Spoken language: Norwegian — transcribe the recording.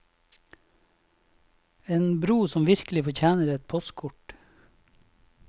En bro som virkelig fortjener et postkort.